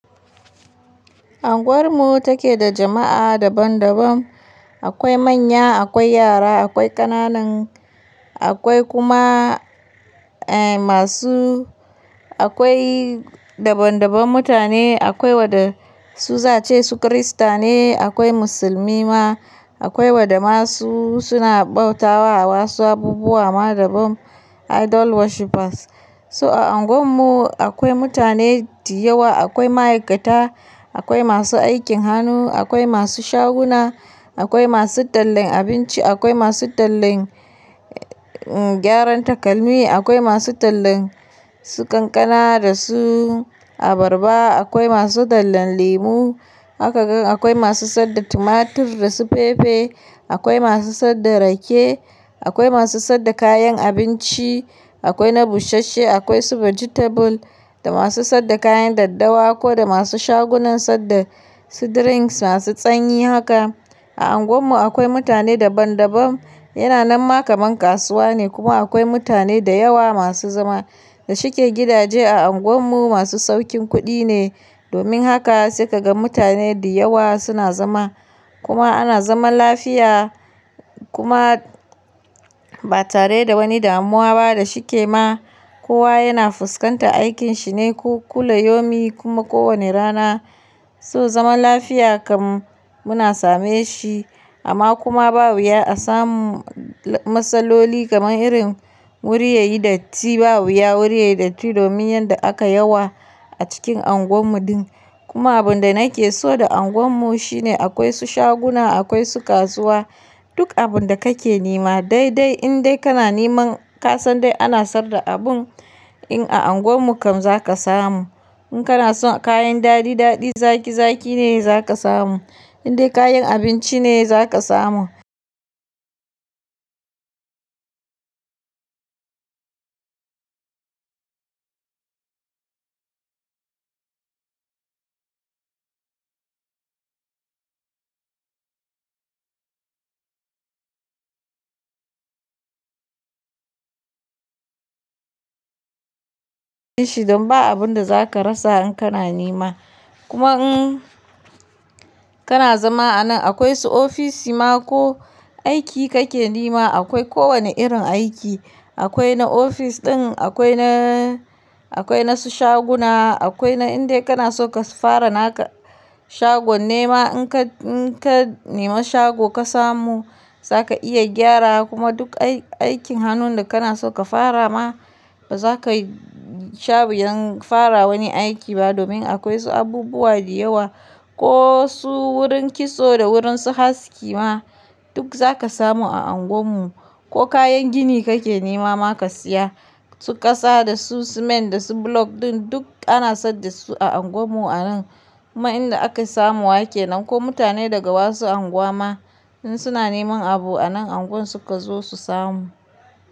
Anguwar mu take da jama'a daban daban, akwai manya, akwai yara, akwai ƙananan, akwai kuma eh masu, akwai daban daban mutane, akwai wanda su zace su kirista ne, akwai musulmi ma, akwai wa da masu suna bauta wa wasu abubuwa ma daban idol worshippers. So a unguwar mu akwai mutane diyawa, akwai ma'aikata, akwai masu aikin hannu, akwai masu shaguna, akwai masu tallan abinci, akwai masu tallan gyaran takalmi, akwai masu tallan su kankana da su abarba, akwai masu tallan lemu, haka kai, akwai masu sa da tumatir da su fefe, akwai masu sad da rake, akwai masu sad da kayan abinci, akwai na bushashe, akwai su vegetable da masu sad da kayan daddawa ko da masu shagunan sad da su drinks masu tsanyi haka. A unguwar mu akwai mutane daban daban, yana nan ma kaman kasuwa ne kuma akwai mutane da yawa masu zama da shike gidaje a unguwar mu masu saukin kuɗi ne, domin haka sai ka ga mutane diyawa suna zama kuma ana zaman lafiya kuma ba tare da wani damuwa ba da shike ma. Kowa yana fuskanta aikin shi ne ku kula yomi kuma ko wane rana, so zaman lafiya kam muna same shi amma kuma ba wuya a samu matsaloli kamar irin wuri yayi datti, ba wuya wuri yayi datti domin yanda aka yawa a cikin unguwar mu din. Kuma abun da nake so da unguwar mu shine akwai su shaguna, akwai su kasuwa, duk abun da kake nema dai dai in dai kana neman ka san dai ana sad da abun in a unguwar mu kam zaka samu. In kana son kayan daɗi daɗi zaki zaki ne za ka samu, in dai kayan abinci ne za ka samu. Don ba abun da za ka rasa in kana nema. Kuma in kana zama a nan akwai su ofis ma ko aiki kake nema akwai ko wane irin aiki. Akwai na ofis ɗin, akwai na, akwai na su shaguna, akwai na in dai kana so ka fara naka shagon nema in ka, in ka nema shago ka samu za ka iya gyara kuma duk aikin hannun da kana so ka fara ma ba za ka sha wuyan fara wani aiki ba domin akwai su abubuwa diyawa ko su wurin kitso da wurin su haski ma duk za ka samu a unguwar mu. Ko kayan gini kake nema ma ka siya, su ƙasa da su simint da su block din duk ana sad da su a unguwar mu a nan. Kuma in da aka samuwa kenan ko mutane daga wasu anguwa ma in suna neman abu a nan unguwar su ka zo su samu.